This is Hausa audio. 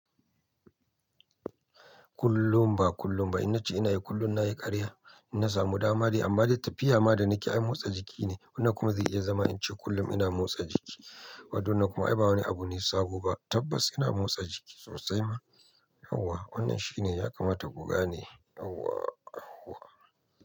Kullum ba kullum ba. Inna ce ina yi kullum na yi ƙarya, ina samu dama dai amma dai tafiya ma da ni ke ai motsa jiki ne. Wannan kuma zai iya zama in ce kullum ina motsa jiki. Waɗannan kuma ai ba wani abu ne sabo ba. Tabbas ina motsa jiki sosai ma. Allah! Wannan shi ne ya kamata kuga ne. Yauwaah.